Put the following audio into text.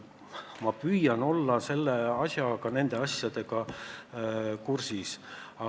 Ma püüan nende asjadega kursis olla.